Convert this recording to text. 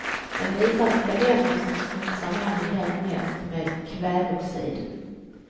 Den visar vilka länder som smutsar ned miljön mest med kväveoxid.